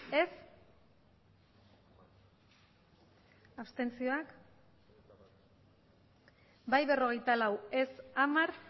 aurkako botoak abstentzioak bai berrogeita lau ez hamar